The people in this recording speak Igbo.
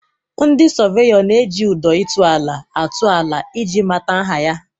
Ndị sọveyọ na-eji ụdọ ịtụ ala atụ ala ị ji mata nha ya.